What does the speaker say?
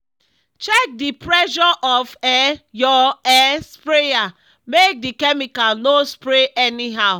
check the pressure of um your um sprayer make the chemical no spray anyhow.